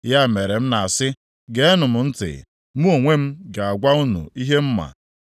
“Ya mere m na-asị, Geenụ m ntị; mụ onwe m ga-agwa unu ihe m ma.